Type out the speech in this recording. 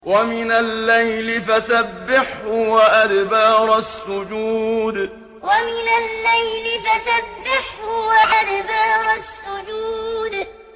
وَمِنَ اللَّيْلِ فَسَبِّحْهُ وَأَدْبَارَ السُّجُودِ وَمِنَ اللَّيْلِ فَسَبِّحْهُ وَأَدْبَارَ السُّجُودِ